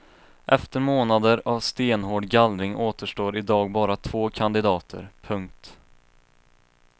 Efter månader av stenhård gallring återstår i dag bara två kandidater. punkt